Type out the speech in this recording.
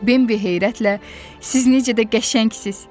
Bimbi heyrətlə, siz necə də qəşəngsiniz!